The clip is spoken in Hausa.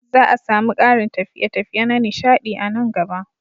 Za a sami ƙarin tafiye-tafiye na nishaɗi a nan gaba.